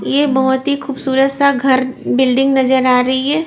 ये बहुत ही खूबसूरत सा घर बिल्डिंग नजर आ रही है।